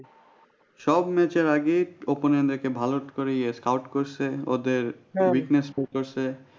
সব match এর আগে opponent দেরকে ভালো করে ইয়ে skout করছে ওদের weakness follow করসে